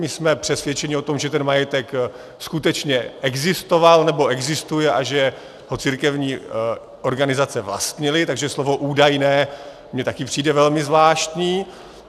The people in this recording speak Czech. My jsme přesvědčeni o tom, že ten majetek skutečně existoval nebo existuje a že ho církevní organizace vlastnily, takže slovo údajné mně taky přijde velmi zvláštní.